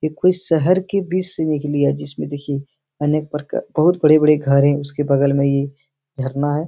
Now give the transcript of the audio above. ये कोई शहर के बीच से निकली है जिसमें देखिये अनेक प्रकार के बहुत बड़े-बड़े घर है उसके बगल में ये झरना है।